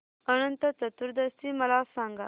अनंत चतुर्दशी मला सांगा